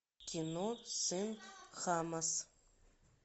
кино сын хамас